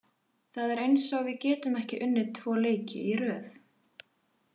Það er eins og við getum ekki unnið tvo leiki í röð.